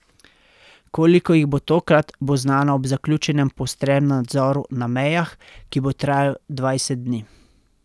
Koliko jih bo tokrat, bo znano ob zaključenem poostrenem nadzoru na mejah, ki bo trajal dvajset dni.